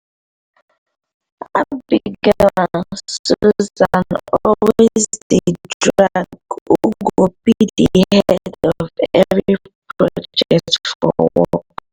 abigail and susan always dey drag who go be d head of every project for work